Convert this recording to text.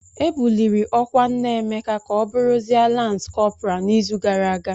E buliri ọkwa nna Emeka ka ọ bụrụzie Lans kọpral n'izu gara aga.